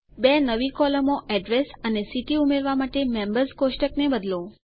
બે નવી કોલમો એડ્રેસ અને સિટી ઉમેરવાં માટે મેમ્બર્સ કોષ્ટકને બદલો